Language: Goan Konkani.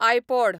आयपॉड